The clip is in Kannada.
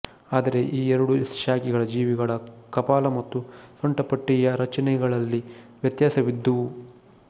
ಆದರೆ ಆ ಎರಡು ಶಾಖೆಗಳ ಜೀವಿಗಳ ಕಪಾಲ ಮತ್ತು ಸೊಂಟಪಟ್ಟಿಯ ರಚನೆಗಳಲ್ಲಿ ವ್ಯತ್ಯಾಸವಿದ್ದುವು